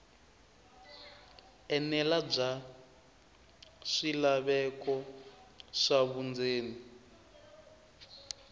enela bya swilaveko swa vundzeni